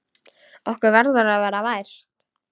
Okkur verður að vera vært!